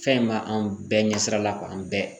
Fɛn in b'an bɛɛ ɲɛsirala la an bɛɛ.